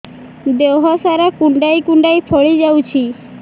ଦେହ ସାରା କୁଣ୍ଡାଇ କୁଣ୍ଡାଇ ଫଳି ଯାଉଛି